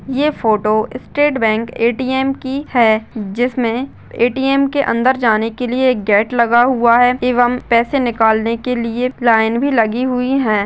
ये photo State Bank ATM. की है जिसमे ए.टी. एम. के अंदर जाने के लिए गेट लगा हुआ है एवं पैसे निकालने के लिए लाइन भी लगी हुई है।